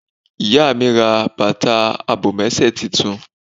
Ìyá mi ra bàtà àbòmésè titun